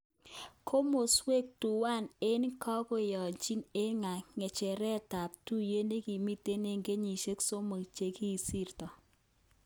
Komoswek tuwan aeng kokoyochin eng nge'cheret tab tuyet nekimiten eng kenyishek somok chekisir.